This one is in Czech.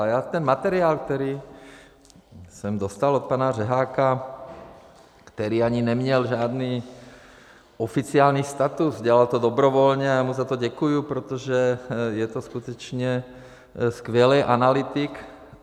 A já jsem materiál, který jsem dostal od pana Řeháka, který ani neměl žádný oficiální status, dělal to dobrovolně, a já mu za to děkuji, protože je to skutečně skvělý analytik.